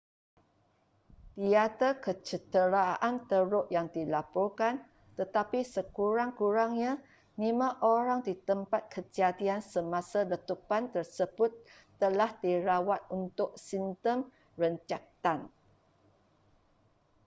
tiada kecederaan teruk yang dilaporkan tetapi sekurang-kurangnya lima orang di tempat kejadian semasa letupan tersebut telah dirawat untuk simptom renjatan